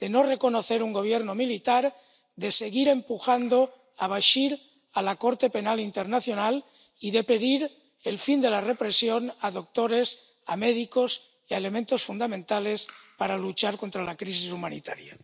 de no reconocer un Gobierno militar, de seguir empujando a Bashir a la Corte Penal Internacional y de pedir el fin de la represión a doctores, a médicos y a elementos fundamentales para luchar contra la crisis humanitaria.